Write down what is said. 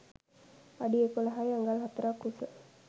අඩි 11 අඟල් 4 ක් උස